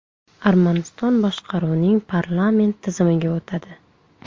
Armaniston boshqaruvning parlament tizimiga o‘tadi.